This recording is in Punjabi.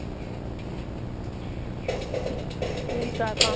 ਤੇ ਵੀ ਚਾਰ ਪੰਜ